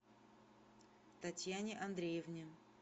татьяне андреевне